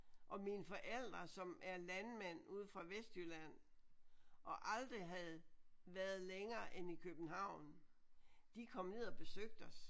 Og mine forældre som er landmænd ude fra Vestjylland og aldrig havde været længere end i København de kom ned og besøgte os